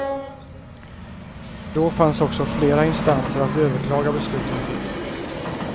Då fanns också flera instanser att överklaga besluten till.